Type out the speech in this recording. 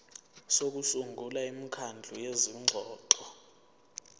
sokusungula imikhandlu yezingxoxo